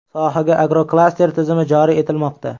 Sohaga agroklaster tizimi joriy etilmoqda.